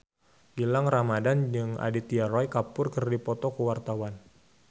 Gilang Ramadan jeung Aditya Roy Kapoor keur dipoto ku wartawan